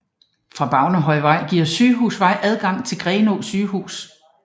Fra Bavnehøjvej giver Sygehusvej adgang til Grenaa Sundhedshus